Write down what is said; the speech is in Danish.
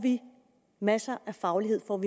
masser af faglighed om